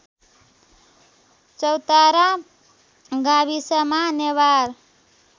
चौतारा गाविसमा नेवार